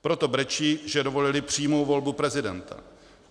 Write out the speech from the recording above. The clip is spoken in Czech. Proto brečí, že dovolili přímou volbu prezidenta.